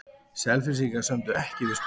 Selfyssingar sömdu ekki við Skotann